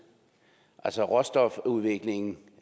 altså råstofudviklingen